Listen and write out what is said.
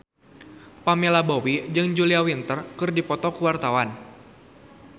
Pamela Bowie jeung Julia Winter keur dipoto ku wartawan